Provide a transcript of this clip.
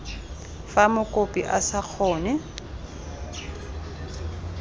fa mokopi a sa kgone